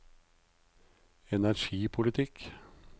energipolitikk